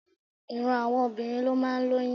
Ìran àwọn obìnrin ló máa ń lóyún.